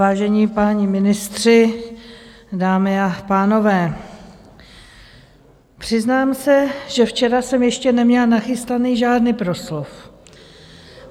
Vážení páni ministři, dámy a pánové, přiznám se, že včera jsem ještě neměla nachystaný žádný proslov.